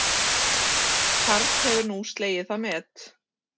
Karl hefur nú slegið það met